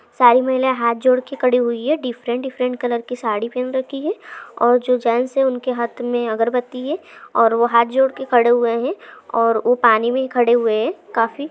सारी महिलाये हाथ जोड़ के खड़ी हुई है डिफरंट डिफरंट कलर की साड़ी पेन रखी है और जो जेन्ट्स है उनके हाथ मैं अगरबत्ती है और वो हाथ जोड़ के खड़े हुए है और वो पानी मैं खड़े हुए है काफी--